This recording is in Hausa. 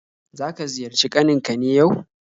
Zaka ziyarci kaninka ne yau?